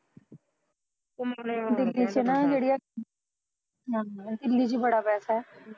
ਹਾਂ ਦਿੱਲੀ ਚ ਬੜਾ ਪੈਸਾ ਐ